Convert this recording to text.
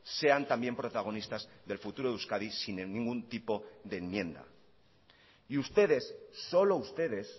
sean también protagonistas del futuro de euskadi sin ningún tipo de enmienda y ustedes solo ustedes